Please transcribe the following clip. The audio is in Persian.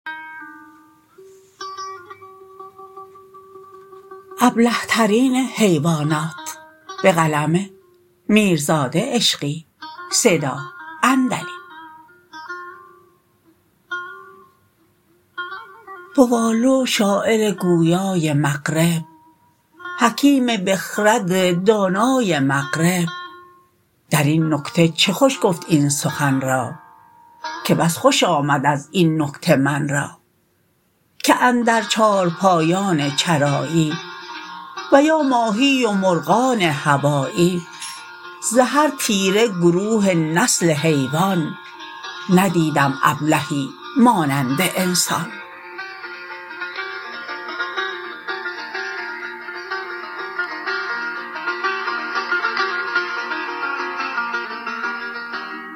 بوآلو شاعر گویای مغرب حکیم بخرد دانای مغرب در این نکته چه خوش گفت این سخن را که بس خوش آمد از این نکته من را که اندر چارپایان چرایی و یا ماهی و مرغان هوایی ز هر تیره گروه نسل حیوان ندیدم ابلهی مانند انسان